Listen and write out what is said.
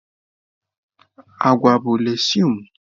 Agwa bụ legsụme.